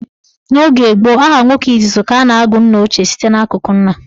N' oge gboo, aha nwoke izizi ka a na-agụ nnaochie site n'akụkụ nna.